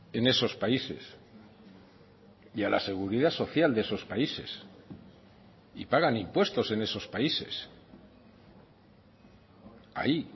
en esos países y a la seguridad social de esos países y pagan impuestos en esos países ahí